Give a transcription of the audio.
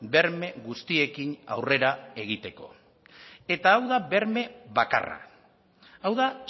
berme guztiekin aurrera egiteko eta hau da berme bakarra hau da